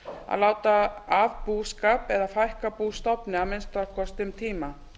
að láta af búskap eða fækka bústofni að minnsta kosti um tíma